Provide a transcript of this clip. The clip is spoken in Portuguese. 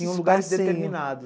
Tinha um lugar determinado.